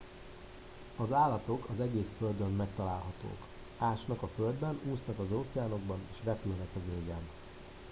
az állatok az egész földön megtalálhatók ásnak a földben úsznak az óceánokban és repülnek az égen